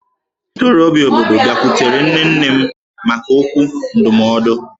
Ndị ntorobịa obodo bịakwutere nne nne m maka okwu ndụmọdụ